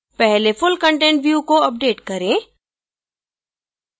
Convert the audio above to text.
पहले full content view को update करें